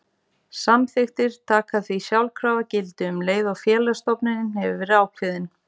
Samþykktirnar taka því sjálfkrafa gildi um leið og félagsstofnunin hefur verið ákveðin.